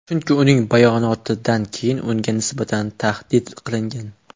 Chunki uning bayonotidan keyin unga nisbatan tahdid qilingan.